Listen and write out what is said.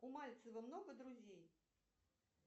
у мальцева много друзей